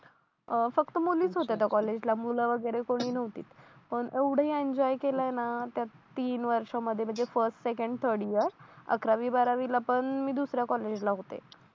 अं फक्त मुलीच होत्या त्या कॉलेजला मुलं वगैरे कोणी नव्हतीत पण एवढं एन्जॉय केलं ना त्या तीन वर्षांमध्ये म्हणजे फर्स्ट सेकंड थर्ड इयर अकरावी बारावीला पण मी दुसऱ्या कॉलेजला होते